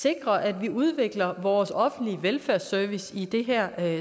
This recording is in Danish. sikrer at vi udvikler vores offentlige velfærdsservice i det her